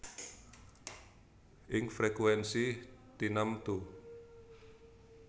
Ing frekuènsi tinamtu